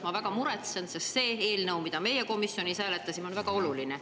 Ma väga muretsen, sest see eelnõu, mida me komisjonis hääletasime, on väga oluline.